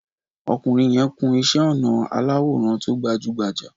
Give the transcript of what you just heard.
Ọkùnrin yẹn kun iṣẹ́-ọnà aláwò rán tó gbajú-gbajà.